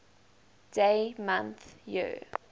dd mm yyyy